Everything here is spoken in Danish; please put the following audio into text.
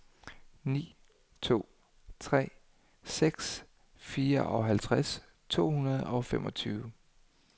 ni to tre seks fireoghalvtreds to hundrede og femogtyve